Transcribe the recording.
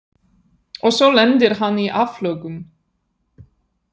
Og svo lendir hann í áflogum.